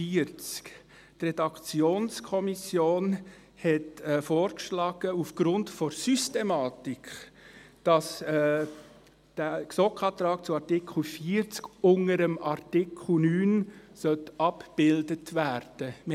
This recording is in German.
Die Redaktionskommission hat vorgeschlagen, dass aufgrund der Systematik der GSoK-Antrag zu Artikel 40 unter Artikel 9 abgebildet werden sollte.